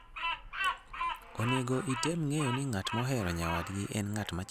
Onego item ng'eyo ni ng'at mohero nyawadgi en ng'at machalo nade